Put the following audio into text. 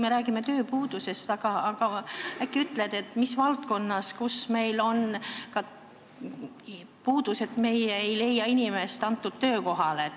Me räägime tööpuudusest, aga äkki ütled, kus meil on selline puudus, et me ei leia inimest töökohale.